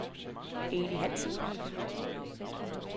Eli Hansen